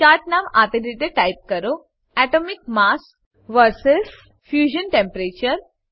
ચાર્ટનું નામ આપેલ રીતે ટાઈપ કરો atomic mass vs fusion temperature